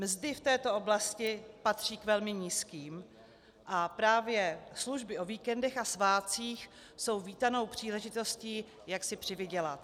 Mzdy v této oblasti patří k velmi nízkým a právě služby o víkendech a svátcích jsou vítanou příležitostí, jak si přivydělat.